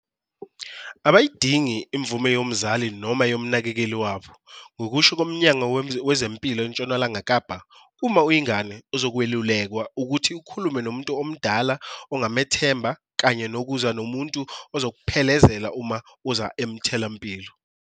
Abayidingi imvume yomzali noma yomnakekeli wabo. Ngokusho koMnyango Wezempilo eNtshonalanga Kapa, uma uyingane, uzokwelulekwa ukuthi ukhulume nomuntu omdala ongamethemba kanye nokuza nomuntu ozokuphelezela uma uze emtholampilo.